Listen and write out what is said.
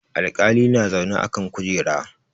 Alƙali na zaune a kan kujera.